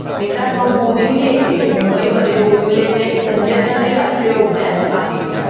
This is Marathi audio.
मित्रांनो, बोरीवली येथे. मुंबईमध्ये बोरीवली येथे, एक संजय गांधी राष्ट्रीय उद्यान आहे.